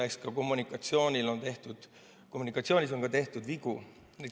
Eks kommunikatsiooniski on tehtud vigu.